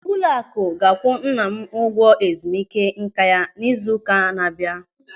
Ụlọakụ ga-akwụ nna m ụgwọ ezumike nká ya n'izu ụka na-abịa.